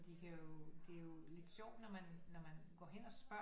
De kan jo det er jo lidt sjovt når man når man går hen og spørger